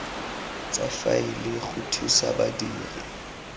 tsa faele go thusa badiri